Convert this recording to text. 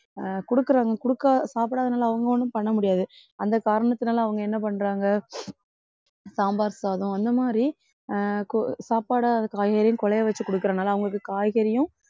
அஹ் குடுக்குறாங்க குடுக்கா~ சாப்பிடாதனால அவங்க ஒண்ணும் பண்ண முடியாது அந்த காரணத்துனால அவங்க என்ன பண்றாங்க சாம்பார் சாதம் அந்த மாதிரி அஹ் கு~ சாப்பாட காய்கறியும் குழைய வச்சு குடுக்கிறனால அவங்களுக்கு காய்கறியும்